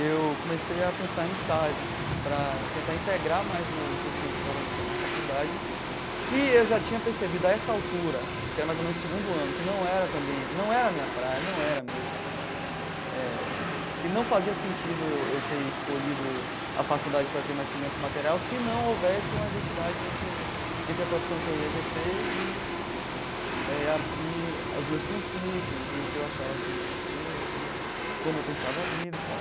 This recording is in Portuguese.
eu comecei a pensar em estágio para tentar integrar mais o conhecimento que eu estava adquirindo na faculdade, que eu já tinha percebido a essa altura, que era mais ou menos o segundo ano, que não era também, não era a minha praia, não era mesmo, eh que não fazia sentido eu eu ter escolhido a faculdade para ter mais segurança material se não houvesse uma identidade entre entre a profissão que eu ia exercer e a e os meus princípios e o que eu achava que devia ser né, como eu pensava a vida e tal.